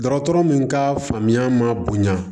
Dɔgɔtɔrɔ min ka faamuya ma bonya